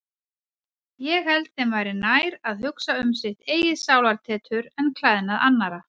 Ég held þeim væri nær að hugsa um sitt eigið sálartetur en klæðnað annarra.